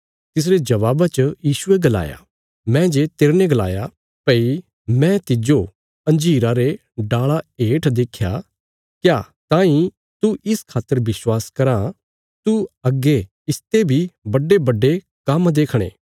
तिसरे जबाबा च यीशुये गलाया मैं जे तेरने गलाया भई मैं तिज्जो अंजीरा रे डाल़ा हेठ देख्या क्या ताईं तू इस खातर विश्वास कराँ तू अग्गे इसते बी बड्डेबड्डे काम्म देखणे